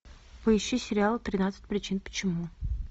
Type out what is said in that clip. поищи сериал тринадцать причин почему